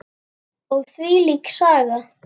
Og þvílík Saga.